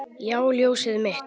Já, ljósið mitt.